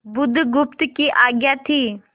बुधगुप्त की आज्ञा थी